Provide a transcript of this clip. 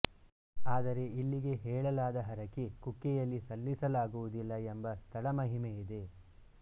ಆದರೆ ಇಲ್ಲಿಗೆ ಹೇಳಲಾದ ಹರಕೆ ಕುಕ್ಕೆಯಲ್ಲಿ ಸಲ್ಲಿಸಲಾಗುವುದಿಲ್ಲ ಎಂಬ ಸ್ಥಳ ಮಹಿಮೆಯಿದೆ